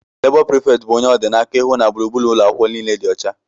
Labó preefecti bu ónyé ọ dị n'aka ịhụ na gburugburu ụlọakwụkwọ niile dị ọcha.